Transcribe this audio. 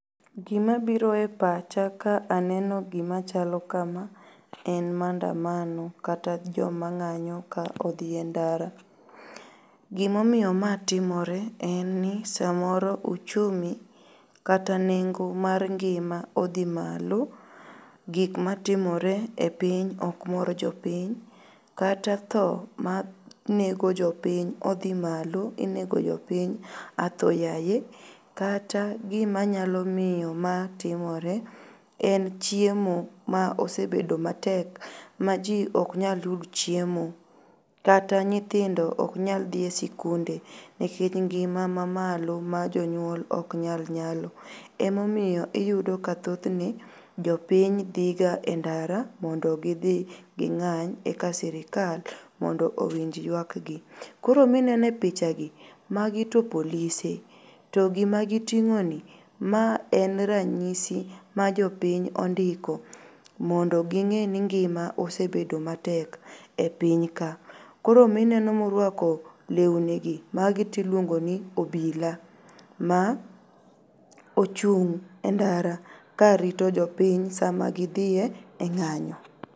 Gimabiro e pacha ka aneno gima chalo kama en maandamano kata jomang'anyo ka odhie ndara. Gimoiyo maa timore en ni samoro uchumi kata nengo mar ngima odhi malo, gik matimore e piny okmor jopiny kata tho manego jopiny odhi malo inego jopiny atho yaye. Kata gimanyalo miyo maa timore en chiemo ma osebedo matek maji oknyal yud chiemo, kata nyithindo oknyal dhie sikunde nekech ngim ma malo ma jonyuol oknyal nyalo emomiyo iyudo ka thothne jopiny dhigae ndara mondo gidhi ging'any eka sirkal mondo owinj yuakgi. Koro minene pichagi magi to polise to gimagiting'oni ma en ranyisi ma jopiny ondiko mondo ging'eni ngima osebedo matek e piny ka. Koro mineno moruako leunigi magitiluongoni obila ma ochung' e ndara karito jopiny sama gidhie ng'anyo.